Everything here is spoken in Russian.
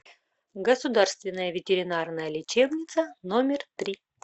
государственная ветеринарная лечебница номер три